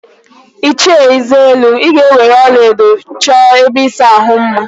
Ịchie Nzelu, ị ga-eweere ọlaedo chọọ ebe ịsa ahụ mma!